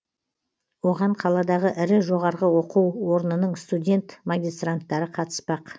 оған қаладағы ірі жоғарғы оқу орнының студент магистранттары қатыспақ